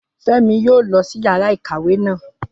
Fẹ́mi yóò lọ sí yàrá ìkàwé naa.